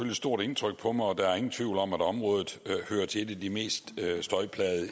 et stort indtryk på mig og der er ingen tvivl om at området hører til et af de mest støjplagede